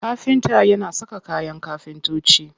Kafinta yana saka kayan kafintoci.